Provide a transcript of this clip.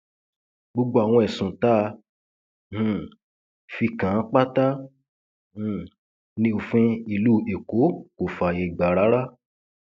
gbogbo àwọn ẹsùn tá um a fi kàn án pátá um ní òfin ìlú èkó kò fààyè gbà rárá